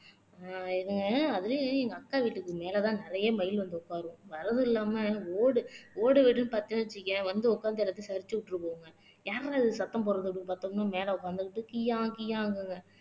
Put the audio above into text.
ஆஹ் இதுங்க அதுலயும் எங்க அக்கா வீட்டுக்கு மேலதான் நிறைய மயில் வந்து உட்காரும் வர்றதும் இல்லாம ஓடு ஓடு வீடுன்னு பாத்தேன்னு வச்சுக்கயேன் வந்து உட்கார்ந்து எல்லாத்தையும் சரிச்சு விட்டுட்டு போகுங்க யார்றா இது சத்தம் போடுறது அப்படின்னு பார்த்தோம்னா மேல உட்கார்ந்துகிட்டு